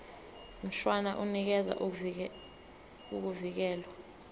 mshwana unikeza ukuvikelwa